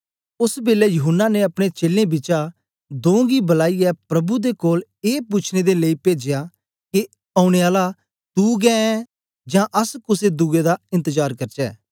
ओस बेलै यूहन्ना ने अपने चेलें बिचा दों गी बुलाईयै प्रभु दे कोल ऐ पूछने दे लेई पेजया के औने आला तू गै ऐं जां अस कुसे दुए दा एन्तजार करचै